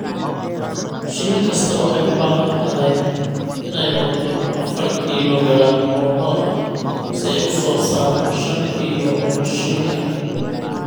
Shinni kasta waxay u baahan tahay inay cunto afar kiiloogaraam oo malab ah si ay u soo saarto shan kiilo oo shinni ah.